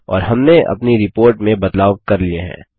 और हमने अपनी रिपोर्ट में बदलाव कर लिए हैं